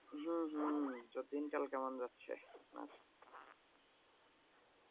হম হম তা দিনকাল কেমন যাচ্ছে আপনার?